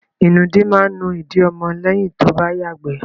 Ìnùdí máa nú ìdí ọmọ lẹ́yìn tó bá yàgbẹ́.